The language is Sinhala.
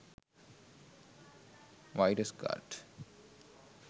virus gard